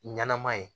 Ɲanama ye